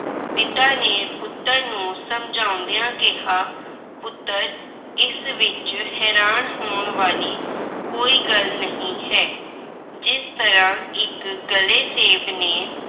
ਪਿਤਾ ਨੇ ਪੁੱਤਰ ਨੂੰ ਸਮਝਾਉਂਦਿਆਂ ਕਿਹਾ ਪੁੱਤਰ ਇਸ ਵਿੱਚ ਹੈਰਾਨ ਹੋਣ ਵਾਲੀ ਕੋਈ ਗੱਲ ਨਹੀਂ ਹੈ। ਜਿਸ ਤਰ੍ਹਾਂ ਇੱਕ ਗਲੇ ਸੇਬ ਨੇ